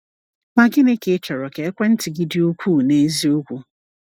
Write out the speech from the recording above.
Ma gịnị ka ị chọrọ ka ekwentị gị dị ukwuu n’eziokwu?